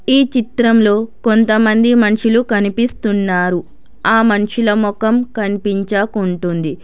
ఈ చిత్రంలో కొంతమంది మనుషులు కనిపిస్తున్నారు ఆ మనుషుల మొఖం కనిపించకుంటుంది.